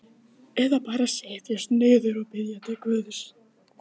Hann rak trýnið ofaní mjólkina og lapti.